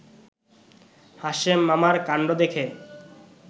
হাশেম মামার কান্ড দেখে